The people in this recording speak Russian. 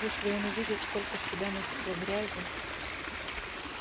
если он увидит сколько с тебя натекло грязи